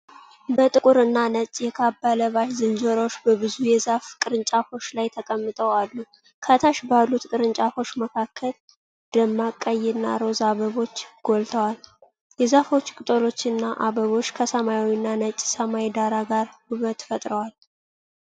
ጥቁርና ነጭ የካባ ለባሽ ዝንጀሮዎች በብዙ የዛፍ ቅርንጫፎች ላይ ተቀምጠው አሉ። ከታች ባሉት ቅርንጫፎች መካከል ደማቅ ቀይና ሮዝ አበቦች ጎልተዋል። የዛፎቹ ቅጠሎችና አበቦች ከሰማያዊና ነጭ ሰማይ ዳራ ጋር ውበት ፈጥረዋል።